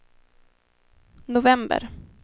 november